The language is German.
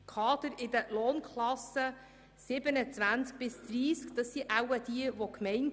Damit sind wohl Kadermitarbeitende mit Lohnklassen zwischen 27 und 30 gemeint.